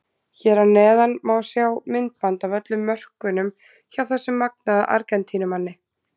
Hér að neðan má sjá myndband af öllum mörkunum hjá þessum magnaða Argentínumanni.